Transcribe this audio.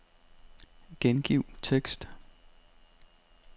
Gengiv tekst.